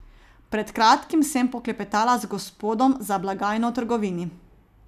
Pred kratkim sem poklepetala z gospodom za blagajno v trgovini.